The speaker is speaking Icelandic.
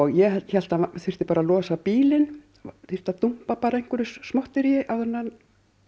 ég hélt hann þyrfti bara að losa bílinn þyrfti að dumpa einhverju smotteríi áður en hann